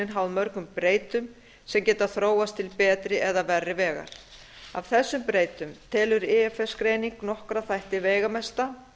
viðskiptaáætlunin háð mörgum breytum sem geta þróast til betri eða verri vegar af þessum breytum telur ifs greining nokkra þætti veigamesta